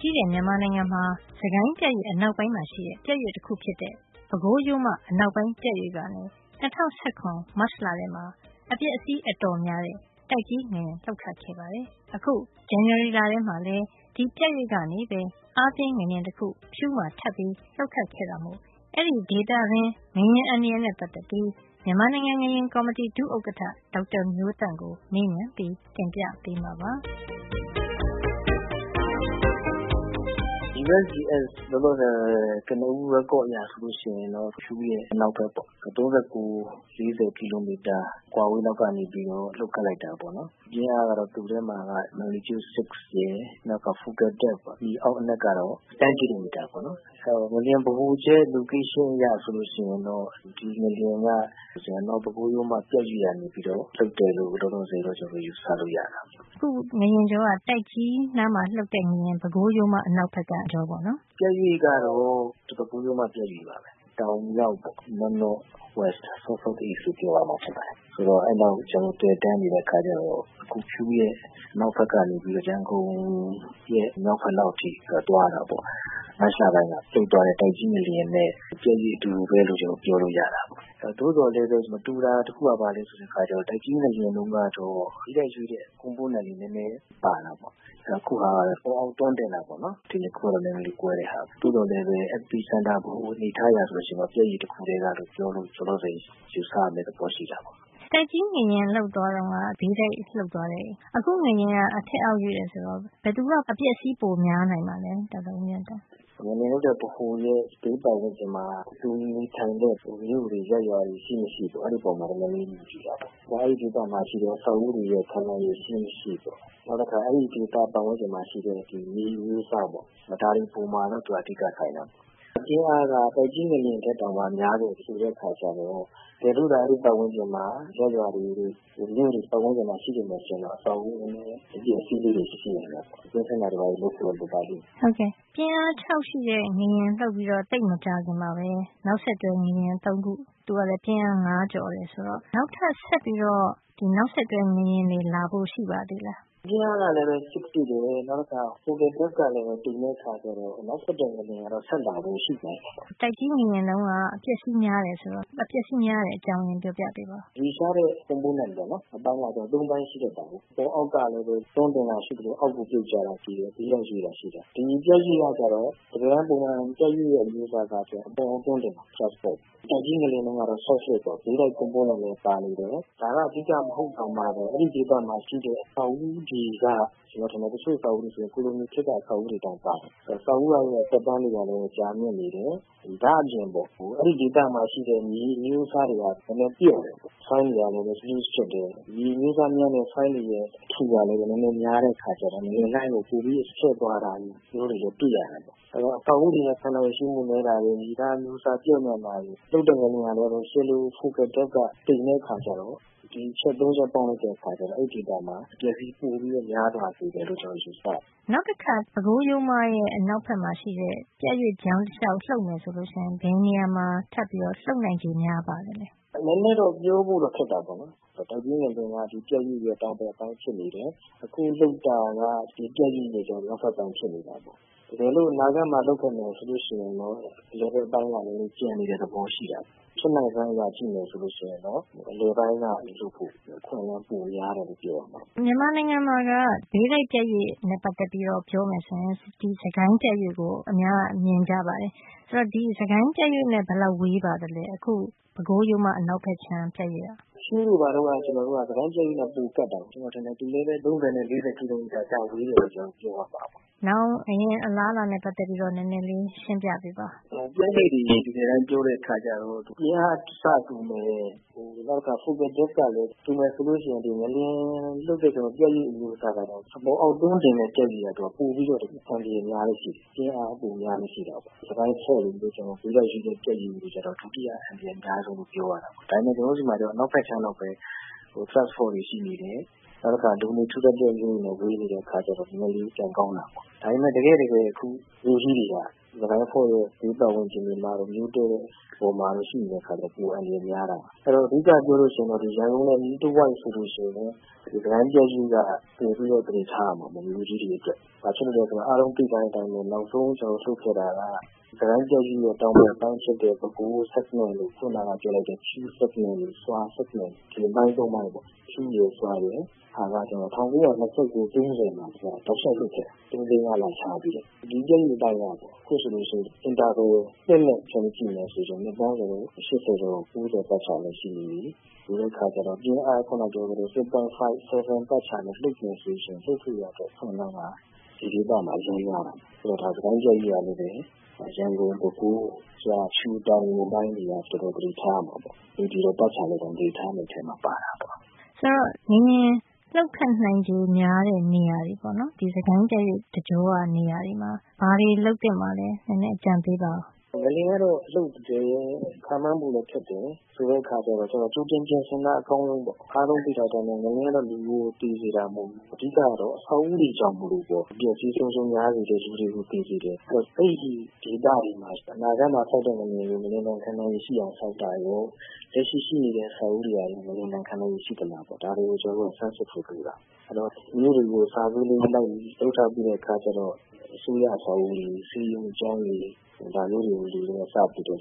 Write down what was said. ကြီးတဲ့ မြန်မာနိုင်ငံမှာ စစ်ကိုင်းပြတ်ရွေ့အနောက်ပိုင်းမှာရှိတဲ့ ပြတ်ရွေ့ တခုဖြစ်တဲ့ ပဲခူးရိုးမအနောက်ပိုင်း ပြတ်ရွေ့ကနေ ၂၀၁၇ မတ်လမှာ အပျက်အစီး အတော် များတဲ့ တိုက်ကြီးငလျင် လှုပ်ခဲ့ပါတယ်။ အခု ဇန်နဝါရီလမှာလည်း အဲဒီပြတ်ရွေ့ကနေပဲ အားပြင်းငလျင်တခု ဖြူးမှာ ထပ်ပြီး လှုပ်ခတ်ခဲ့တာမို့ အဲဒီဒေသတွင်း ငလျင်အန္တရာယ်နဲ့ ပတ်သက်ပြီး မြန်မာနိုင်ငံ ငလျင်ကော်မတီ ဒုဥက္ကဋ္ဌ ဒေါက်တာမျိုးသန့်ကို မေးမြန်းပြီး တင်ပြပေးမှာပါ။ USGS က ထုတ်ပြန်တဲ့ ကနဦး record အရဆိုရင်တော့ ဖြူးမြို့အနောက်ဖက် ၃၉ - ၄၀ ကီလိုမီတာ အကွာလောက်ကနေ လှုပ်ခတ်လိုက်တာပေါ့နော်။ ပြင်းအားကတော့ ပမာဏ ၆.၀ ရှိတယ်။ မြေအောက်အနက်ကတော့ ၁၀ ကီလိုမီတာ - ၆ မိုင်ပေါ့နော်။ အဲဒီ ငလျင်ဗဟိုချက် တည်နေရာအရ ဆိုရင်တော့ ဒီငလျင်က ပဲခူးရိုးမ ပြတ်ရွေ့ကနေပြီးတော့ လှုပ်တယ်လို့ လောလောဆယ် ယူဆလို့ ရတာပေါ့။ အခု ငလျင်လှုပ်တာက တိုက်ကြီးနားမှာ လှုပ်ခဲ့တဲ့ ပဲခူးရိုးမ အနောက်ဖက်က အကြောပေါ့နော်။ ပြတ်ရွေ့ကတော့ ပဲခူးရိုးမ ပြတ်ရွေ့ပါပဲ။ တောင်မြောက်ပေါ့။ NNW- SSE လို့ပြောရမှာပဲ။ အဲဒီအတိုင်း သွယ်တန်းနေတဲ့ အခါကျတော့ အခု ဖြူးရဲ့ အနောက်ဖက်ကနေ ရန်ကုန် ရဲ့ မြောက်ဖက်လောက်အထိ သူက သွားတာပေါ့။ မတ်လတုန်းက လှုပ်သွားတဲ့ တိုက်ကြီး ငလျင်နဲ့ ပြတ်ရွေ့ အတူတူပဲလို့ ပြောလို့ ရတာပေါ့။ သို့သော်လည်းပဲ မတူတာ တခုက ဘာလဲ ဆိုတော့ တိုက်ကြီး ငလျင်တုန်းကတော့ ဘေးတိုက်ရွေ့တဲ့ အခြေနေလေး နည်းနည်းပါတာပေါ့။ အခုကတော့ အပေါ်အောက် တွန်းတင်တာပေါ့နော်။ ဒီ ၂ ခု ကတော့ နည်းနည်းလေး ကွဲတဲ့ဟာပေါ့။ ပြီးတော့လည်းပဲ ငလျင်ဗဟိုချက် epicenter အနေအထား အရဆိုရင်တော့ ပြတ်ရွေ့ တခုတည်းကပဲ ဖြစ်တာလို့ လောလောဆယ် ယူဆရမယ့်သဘော ရှိတာပေါ့။ တိုက်ကြီးငလျင်တုန်းက ဘေးတိုက်လှုပ်သွားတယ်။ အခု ငလျင်က အထက်အောက် ရွေ့တယ် ဆိုတော့ ဘယ်သူက အပျက်အစီး ပိုများနိုင်ပါသလဲ ဒေါက်တာဦးမျိုးသန့် ငလျင်လှုပ်တဲ့ ဗဟိုနဲ့ နံဘေး ပတ်ဝန်းကျင်မှာ လူနေထိုင်တဲ့ မြို့တွေ ရပ်ရွာတွေ ရှိမရှိပေါ့။ အဲဒီ အပေါ်မှာ မူတည်တာပေါ့။ ပြီးတော့ အဲဒီဒေသမှာရှိတဲ့ အဆောက်အဦးတွေရဲ့ ခံနိုင်ရည် ရှိမရှိပေါ့။ နောက် အဲဒီဒေသရဲ့ပတ်ဝန်းကျင်မှာရှိတဲ့ မြေအမျိုးအစားပေါ့။ ဒါတွေ အပေါ်မှာလည်း သူက မူတည်ပါတယ်။ အဓိက ဆိုင်တာပေါ့။ ပြင်းအားက တိုက်ကြီး ငလျင် ထက်တောင်မှ များတယ် ဆိုတော့ တကယ်လို့သာ အဲဒီဒေသဝန်းကျင်မှာ ရပ်ရွာတွေ မြို့တွေ ပတ်ဝန်းကျင်မှာ ရှိတယ် ဆိုရင်တော့ အပျက်အစီးလေးတွေ ရှိနိုင်တာပေါ့။ ကွင်းဆင်းတာတွေ လုပ်ဖို့တော့ လိုပါ လိမ့်မယ်။ ပြင်းအား ၆ ရှိတဲ့ ငလျင်လှုပ်ပြီးတော့ သိပ်မကြာခင်မှာပဲ နောက်ဆက်တွဲ ငလျင် ၃ ခု လှုပ်တယ်။ သူတို့ကလည်း ပြင်းအားပမာဏ ၅ ကျော်တယ် ဆိုတော့ နောက်ထပ် ဆက်ပြီးတော့ နောက်ဆက်တွဲ ငလျင်တွေ လာဖို့ ရှိပါသေးလား။ ပြင်းအားကလည်း ၆ ရှိတယ်။ နောက်ပြီးတော့ ငလျင်ဗဟိုချက်ကလည်း တိမ်တဲ့ အခါကျတော့ နောက်ဆက်တွဲ ငလျင်ကတော့ ဆက်လာဖို့ ရှိနိုင်တယ်ပေါ့။ တိုက်ကြီး ငလျင်တုန်းက အပျက်အစီးများတယ် ဆိုတော့ ခုလို အပျက်အစီးများရတဲ့ အကြောင်းရင်းကို ပြောပြပေးပါ။ ရွေ့လျားတဲ့ component ပေါ့နော်။ အပိုင်းကလည်း ၃ ပိုင်း ရှိတယ်။ အပေါ်အောက် ကလည်း တွန်းတင်တာ ရှိသလို၊ အောက်ကို ပြုတ်ကျတာ ရှိတယ်၊ ဘေးတိုက်ရွေ့တာ ရှိတယ်။ ဒီပြတ်ရွေ့ ကတော့ တကယ်တမ်း ပုံမှန်ပြတ်ရွေ့ရဲ့ အနေထားကတော့ အပေါ် အောက် တွန်းတင်တာ။ thrust fault ၊ တိုက်ကြီး ငလျင်တုန်းကတော့ strike slip ပေါ့ ဘေးတိုက်ရွေ့တာ ပါနေတယ်။ ဒါက အဓိက မဟုတ်တောင်မှပဲ အဆောက်အဦးတွေ က ကျွန်တော်ထင်တယ်၊ တချို့ အဆောက်အဦးတွေက ကိုလိုနီခေတ်က အဆောက်အဦးတွေ တောင်ပါတယ်။ အဲတော့ အဆောက်အဦးတွေသက်တမ်းက လည်း ကြာမြင့်နေတယ်။ ဒါ့အပြင်ပေါ့။ အဲ့ဒီဒေသမှာ ရှိတဲ့ မြေ အမျိုးအစားတွေက နည်းနည်း ပျော့တယ်။ soil မြေသား တွေကလည်း တွဲဆက်မှု နည်းတယ်။ loose ဖြစ်တယ်။ မြေအမျိုးစား ညံ့တဲ့ soil တွေရဲ့ အထူကလည်း နည်းနည်းများတဲ့အခါကျတော့ ငလျင်လှိုင်းကို ပိုပြီး ချဲ့သွားတဲ့ဟာမျိုး တွေလည်း တွေ့ရတာပေါ့။ အဲဒီတော့ အဆောက်အဦးတွေရဲ့ ခံနိုင်ရည် ရှိမှု နည်းတာရယ်။ မြေသား အမျိုးစား ပျော့ညံ့တာရယ်။ လှုပ်တဲ့ငလျင်ရဲ့ ဗဟိုချက်ကလည်း တိမ်တဲ့အခါ ကျ တော့ ဒီအချက် ၃ ချက် ပေါင်းတဲ့အခါမှာ အဲဒီဒေသမှာ အပျက်အစီး ပိုပြီး များသွားစေ မယ်လို့ ကျွန်တော် ယူဆတယ်။ နောက်တခါ ပဲခူးရိုးမရဲ့ အနောက်ဖက်မှာ ရှိတဲ့ ပြတ်ရွေ့ကြောင်းတလျှောက် လှုပ်မယ်ဆိုရင် ဘယ်နေရာမှာ ထပ်ပြီး လှုပ်နိုင်ခြေ များပါသလဲ။ နည်းနည်းတော့ ပြောဖို့တော့ ခက်တာပေါ့။ တိုက်ကြီး ငလျင်က ဒီပြတ်ရွေ့ရဲ့ တောင်ဘက် ပိုင်း ဖြစ်နေ တယ်။ အခုလှုပ်တာက ဒီပြတ်ရွေ့ရဲ့ မြောက်ဘက်ပိုင်းမှာ ဖြစ်နေတယ်။ တကယ်လို့ အနာဂတ်မှာ လှုပ်ခဲ့မယ်ဆိုလို့ ရှိရင်တော့ အလယ်ပိုင်းက နည်းနည်းကျန်နေ တဲ့ သဘောရှိနေတာပေါ့။ ဖြစ်နိုင်စွမ်း probability အရ ကြည့်ရင်တော့ အလယ်ပိုင်းက လှုပ်ဖို့ နည်းနည်း ပိုများတယ်လို့ ပြောရမှာပေါ့။ မြန်မာနိုင်ငံမှာက ဘေးတိုက်ပြတ်ရွေ့နဲ့ ပတ်သက်ပြီးပြောမယ်ဆိုရင် စစ်ကိုင်းပြတ်ရွေ့ကို အများက မြင်ကြပါတယ်။ အခု ပဲခူးရိုးမ အနောက်ဖက်ခြမ်း ပြတ်ရွေ့က ဒီ စစ်ကိုင်း ပြတ်ရွေ့နဲ့ဘယ်လောက် ဝေးပါသလဲ။ ဖြူးတို့ဘာတို့က စစ်ကိုင်း ပြတ်ရွေ့နဲ့ ပိုကပ်တာပေါ့။ ကျွန်တော်ထင်တယ်။ သူလည်းပဲ ၃၀ - ၄၀ ကီလိုမီတာ လောက် ဝေးတယ်လို့ပြောရမှာပဲ။ နောင်လှုပ်ခတ်မယ့် ငလျင် အလားအလာနဲ့ ပတ်သက်ပြီးတော့ နည်းနည်းလေး ရှင်းပြပေးပါ။ ပြင်းအား အဆတူမယ့် ငလျင်ဗဟိုချက် အတိမ်အနက်ကလည်း တူမယ်ဆိုရင် ငလျင် လှုပ်တဲ့ ပြတ်ရွေ့အမျိုးအစားကတော့ အပေါ်အောက်တွန်းတင်တဲ့ ပြတ်ရွေ့က ပိုပြီးတော့ အန္တရာယ်များလေ့ ရှိတယ်။ သူကပြင်းအားများလေ့ ရှိတယ်ပေါ့။ စစ်ကိုင်းပြတ်ရွေ့လို ဘေးတိုက် ပြတ်ရွေ့ကတော့ ဒုတိယ အန္တရာယ်အများဆုံးလို့ ပြောရမှာပေါ့။ ဒါပေမယ့် ကျွန်တော်တို့ ဆီမှာကျတော့ မြန်မာနိုင်ငံ အနောက်ဖက်ခြမ်းလောက်ပဲ thrust fault တွေ ရှိတယ်။ ဒါတွေက လူနေထူထပ်တဲ့ မြို့တွေနဲ့ ဝေးနေတဲ့ အခါကျတော့၊ နဲနဲလေး ကံကောင်းတာပေါ့။ ဒါပေမယ့် တကယ့်တကယ် မြို့ကြီးတွေက စစ်ကိုင်းပြတ်ရွေ့ ဘေးပတ်ဝန်းကျင်တွေမှာတို့၊ မြို့တည်တဲ့ အပေါ်မှာတို့ ရှိနေတဲ့အခါကျတော့ ပိုအန္တရာယ်များတာပေါ့။ အဓိက ပြောရလို့ ရှိရင်တော့ ရန်ကုန်နဲ့အနီးတဝိုက်ဆိုလို့ရှိရင် စစ်ကိုင်းပြတ်ရွေ့က မြို့ကြီးတွေအတွက် ပိုပြီးတော့ သတိထားရမှာပေါ့။ဘာဖြစ်လို့လဲဆိုတော့ အားလုံးသိထားတဲ့အတိုင်းပဲ၊ နောက်ဆုံးလှုပ်ခဲ့တာက စစ်ကိုင်းပြတ်ရွေ့ရဲ့တောင်ဘက်အပိုင်းဖြစ်တဲ့ ပဲခူး sagment လို အခုနက ပြောလိုက်တဲ့ ဖြူး segment ၊ ဆွာ segment အပိုင်းသုံးပိုင်းပေါ့။ ဖြူးရယ်၊ ဆွာရယ်က ၁၉၂၉-၃၀ မှာ သုံး-လေး-ငါးလ ခြားပြီးတော့ တောက်လျှောက်လှုပ်ခဲ့တာ။ ဒီပြတ်ရွေ့အပိုင်းက အခုဆိုလို့ရှိရင် Interval နှစ်နဲ့ ခြုံပြီး ကြည့်မယ်ဆိုရင် နှစ်ပေါင်း ၈၀ ကျော် ၉၀ ပတ်ချာလည်ရှိနေပြီ။..ဆိုတဲ့အခါကျတော့ ပြင်းအား…. 6.5 - 7 ပတ်ချာလည် လှုပ်မယ်ဆိုရင် လှုပ်ဖို့အတွက် အခွင့်အလမ်းက ဒီဒေသမှာ အရမ်းများလာ တယ်။ အဲဒီတော့ စစ်ကိုင်းပြတ်ရွေ့ကလည်းပဲ ရန်ကုန်၊ ပဲခူး၊ ဆွာ၊ ဖြူး၊ တောင်ငူ အပိုင်းတွေက တော်တော် သတိထားရမှာပေါ့။ နေပြည်တော်ပတ်ခြာလည်တောင် သတိထားရမယ့် အထဲမှာ ပါတာပေါ့။…ဆိုတော့ ငလျင်လှုပ်ခတ်နိုင်ခြေများတဲ့နေရာတွေ - ဒီ စစ်ကိုင်းပြတ်ရွေ့တကြောက နေရာတွေမှာ ဘာတွေ လုပ်သင့်ပါလဲ၊ နည်းနည်း အကြံပေးပါအုံး။ ငလျင်ကတော့ လှုပ်တယ်၊ ခန့်မှန်းဖို့လည်းခက်တယ်။ ဆိုတဲ့အခါကျတော့ ကြိုတင်ပြင်ဆင် တာ အကောင်းဆုံးပေါ့။ အားလုံးသိတဲ့အတိုင်းပဲ၊ ငလျင်ကတော့ လူကိုသေစေတာ မဟုတ် ဘူး။ အဓိက ကတော့ အဆောက်အဦးတွေကြောင့်မို့လို့ အပျက်အစီးအဆုံးအရှုံး များစေ တယ်။ လူတွေကို သေစေ တယ်။ အဲဒီတော့ အဲဒီဒေသတွေမှာ အနာဂတ်မှာလှုပ်မယ့် ငလျင်တွေကို ငလျင်ဒဏ်ခံနိုင်ရည် ရှိ အောင် ဆောက်တာရော၊ လက်ရှိ ရှိနေတဲ့ အဆောက်အဦးတွေက ငလျင်ဒဏ် ခံနိုင်ရည်ရှိသလား- ဒါတွေကို ဆန်းစစ်ဖို့ လိုတာပေါ့။ အဲဒီတော့ မြို့တွေကို survey လိုက်လုပ်ထားပြီးတဲ့အခါကျတော့ အစိုးရအဆောက်အဦး တွေ၊ ဆေးရုံ၊ ကျောင်းတွေ၊ ဒါမျိုးတွေကို စပြီးတော့ assessment လု